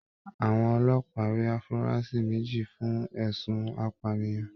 Àwọn ọlọ́pàá rí afurasi méjì fún ẹ̀sùn apànìyàn.